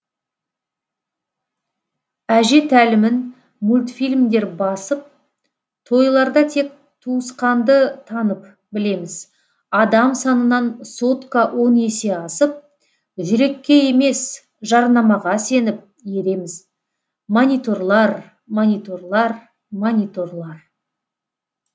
әже тәлімін мультфильмдер басып тойларда тек туысқанды танып білеміз адам санынан сотка он есе асып жүрекке емес жарнамаға сеніп ереміз мониторлар мониторлар мониторлар